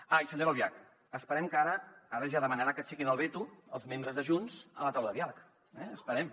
ah i senyora albiach esperem que ara ja demanarà que aixequin el veto als membres de junts a la taula de diàleg eh ho esperem